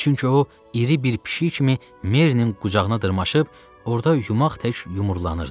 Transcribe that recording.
Çünki o, iri bir pişik kimi Merinin qucağına dırmaşıb, orada yumaq tək yumurlanırdı.